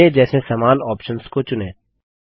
पहले जैसे समान ऑप्शंस को चुनें